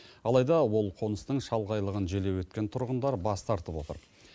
алайда ол қоныстың шалғайлығын желеу еткен тұрғындар бас тартып отыр